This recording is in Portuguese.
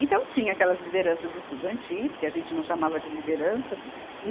Então tinha aquelas lideranças estudantis, que a gente não chamava de lideranças.